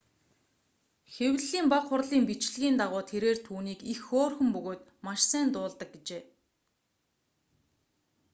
хэвлэлийн бага хурлын бичлэгийн дагуу тэрээр түүнийг их хөөрхөн бөгөөд маш сайн дуулдаг гэжээ